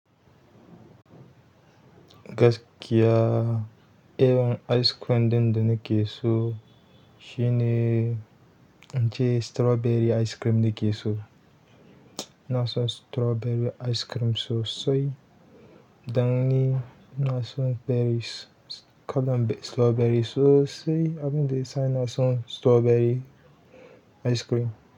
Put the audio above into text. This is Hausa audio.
Gaskiya, irin ice cream ɗinda nake so shine ince strawberry ice cream nake so. Ina san strawberry ice cream so sai, danni ina san berries, kallon strawberry so sai abin da yasa ina son strawberry ice cream.